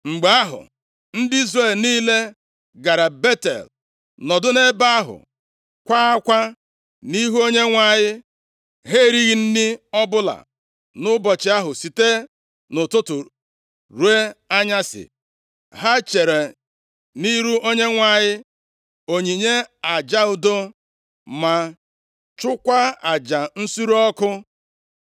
Mgbe ahụ, ndị Izrel niile gara Betel, nọdụ nʼebe ahụ, kwaa akwa nʼihu Onyenwe anyị Ha erighị nri ọbụla nʼụbọchị ahụ site nʼụtụtụ ruo nʼanyasị. Ha chere nʼihu Onyenwe anyị onyinye aja udo, ma chụọkwa aja nsure ọkụ.